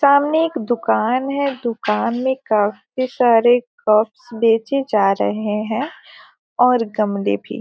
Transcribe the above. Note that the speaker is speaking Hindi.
सामने एक दुकान है दुकान में काफी सारे कप्स बेचे जा रहे हैं और गमले भी।